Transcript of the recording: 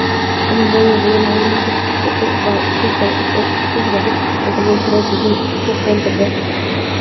Ammo bu yerdagi muhit va o‘quvchilarga yaratilgan sharoit bizni juda quvontirdi.